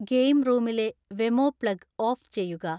game റൂമിലെ Wemo plug off ചെയ്യുക